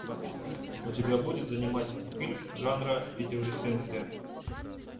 у тебя будет занимательный фильм жанра видеорецензия